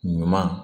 Ɲuman